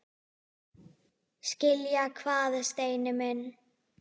Skilja hvað, Steini minn?